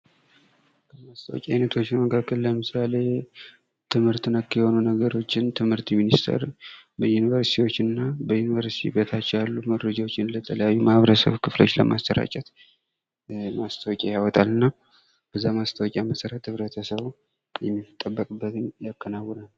kemስታውቂያ አይነቶች መካከል ለምሳሌ ትምህርት ነክ የሆኑ ነገሮችን ትምህርት ሚኒስቴር ዩኒቨርስቲዎች እና በኢንቨስቲዎች በታች ያሉ መረጃዎችን ለተለያዩ ማህበረሰብ ክፍሎች ለማስራጨት ማስታወቂያ ያወጣልና በዛ ማስታወቂያ መሠረትማህበረሰብ ህብረተሰቡ የሚጠበቅበትን ያከናውናል።